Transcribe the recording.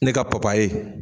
Ne ka papaye